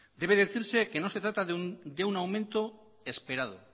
debe decirse que no se trata de un aumento esperado